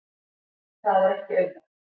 En það er ekki auðvelt.